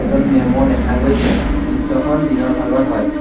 এজন মেমো দেখা গৈছে দৃশ্যখন দিনৰ ভাগৰ হয়।